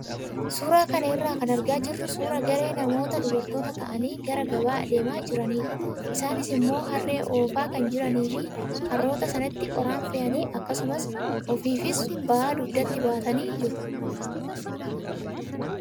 Suuraa kana irraa kan argaa jirru suuraa garee namootaa dubartoota ta'anii gara gabaa adeemaa jiranidha. Isaanis immoo harree oofaa kan jiranii fi harroota sanatti qoraan fe'anii akkasumas ofiifis ba'aa dugdatti baatanii jiru.